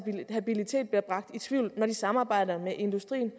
habilitet når de samarbejder med industrien